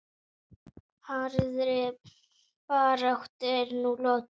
Harðri baráttu er nú lokið.